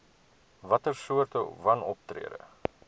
watter soorte wanoptrede